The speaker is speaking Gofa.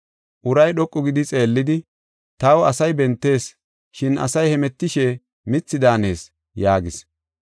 Uray dhoqu gidi xeellidi, “Taw asay bentees, shin asay hemetishe mithi daanees” yaagis.